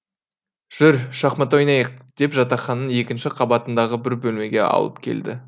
жүр шахмат ойнайық деп жатақхананың екінші қабатындағы бір бөлмеге алып келді